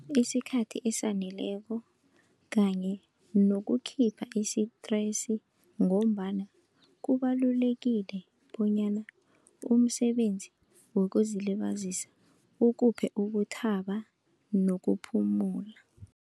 Isikhathi esaneleko kanye nokukhipha isitresi, ngombana kubalulekile bonyana umsebenzi wokuzilibazisa ukuphe ukuthaba nokuphumula.